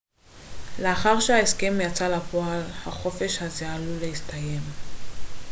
לאחר שההסכם יצא לפועל החופש הזה עלול להסתיים